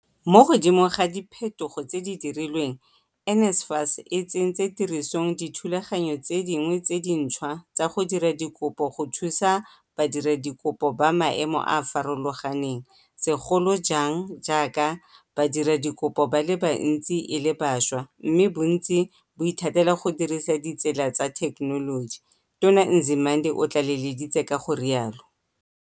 Mo godimo ga diphetogo tse di dirilweng, NSFAS e tsentse tirisong dithulaganyo tse dingwe tse dintšhwa tsa go dira dikopo go thusa badiradikopo ba maemo a a farologaneng segolo jang jaaka badiradikopo ba le bantsi e le bašwa mme bontsi bo ithatela go dirisa ditsela tsa thekenoloji, Tona Nzimande o tlaleleditse ka go rialo.